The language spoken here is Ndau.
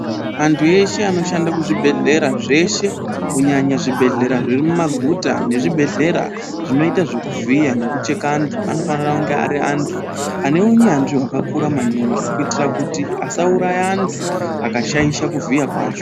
Antu weshe anoshanda kuzvibhedhlera zveshe, kunyanya zvibhedhlera zviri mumaguta, nezvibhedhlera zvinoita zvekuvhiya nekucheka antu, anofanira kunge ari antu ane unyanzvi hwakakura maningi kuitira kuti asauraya antu akashaisha kuvhiya kwacho.